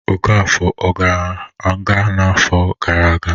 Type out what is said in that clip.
Ọkafọ ọ gara nga n'afọ gara aga?